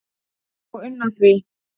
og unna því